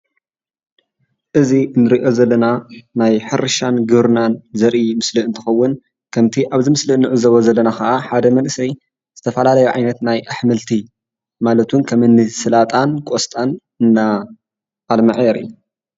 እዚ እንርእዮ ዘለና ናይ ሕርሻን ግብርናን ዘርኢ ምስሊ እንትኸውን ከምቲ ኣብቲ ምስሊ እንዕዘቦ ዘለና ከዓ ሓደ መንእሰይ ዝተፈላለዩ ዓይነታት ናይ አሕምልቲ ማለት እውን ከምኒ ሰላጣን ቖስጣን እንዳልመዐ የርኢ።